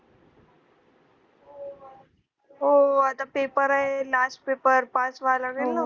हो आता paper आहेत last paper pass व्हायला लागेल ना